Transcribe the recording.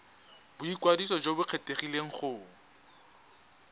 boikwadiso jo bo kgethegileng go